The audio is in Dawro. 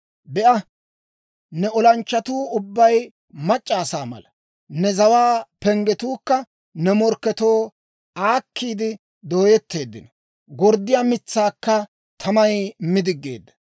Be'a, ne olanchchatuu ubbay mac'c'a asaa mala. Ne zawaa penggetuukka ne morkketoo aakkiide dooyetteeddino; gorddiyaa mitsaakka tamay mi diggeedda.